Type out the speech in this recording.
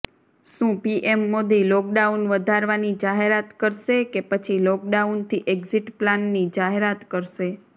શું PM Modi lockdown વધારવાની જાહેરાત કરશે કે પછી લોકડાઉનથી એક્ઝિટ પ્લાનની જાહેરાત કરશે